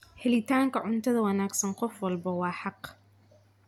Helitaanka cunto wanaagsan qof walba waa xaq.